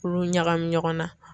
K'olu ɲagami ɲɔgɔn na